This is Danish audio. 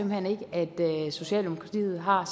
hen ikke at socialdemokratiet har